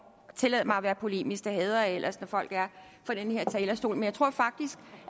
jeg tillader mig at være polemisk det hader jeg ellers når folk er på den her talerstol men jeg tror faktisk